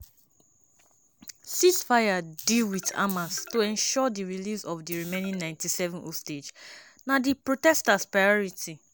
ceasefire deal wit hamas to ensure di release of di remaining 97 hostage na di protesters priority.